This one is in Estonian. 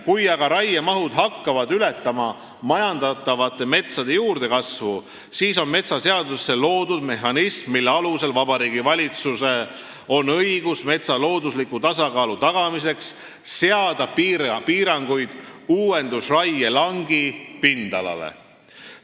Kui aga raiemahud hakkavad ületama majandatavate metsade juurdekasvu, siis selle jaoks on metsaseadusesse loodud mehhanism, mille alusel Vabariigi Valitsusel on õigus metsa loodusliku tasakaalu tagamiseks seada piiranguid uuendusraie langi pindalale.